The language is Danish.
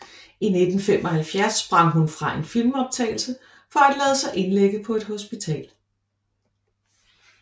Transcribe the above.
I 1975 sprang hun fra en filmoptagelse for at lade sig indlægge på et hospital